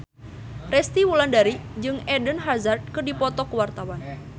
Resty Wulandari jeung Eden Hazard keur dipoto ku wartawan